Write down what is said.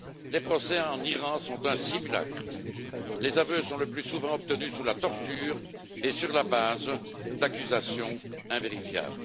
Les procès en Iran sont des simulacres, les aveux sont le plus souvent obtenus sous la torture et sur la base d'accusations invérifiables.